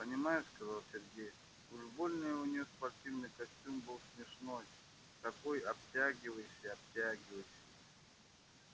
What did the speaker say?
понимаешь сказал сергей уж больно у нее спортивный костюм был смешной такой обтягивающий-обтягивающий